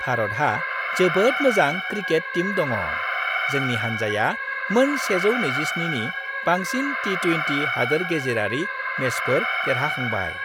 भारतहा जोबोद मोजां cricket team दङ। जोंनि हान्जाया मोन 127 नि बांसिन टी-20 हादोर-गेजेरारि मेचफोर देरहाखांबाय।